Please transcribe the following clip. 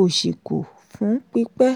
òṣì kù fún pípẹ́.